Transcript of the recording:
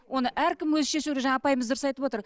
оны әркім өзі шешуі керек жаңа апайымыз дұрыс айтып отыр